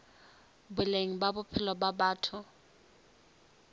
boleng ba bophelo ba batho